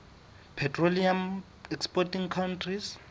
petroleum exporting countries